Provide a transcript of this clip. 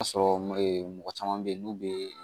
A sɔrɔ mɔgɔ caman bɛ yen n'u bɛ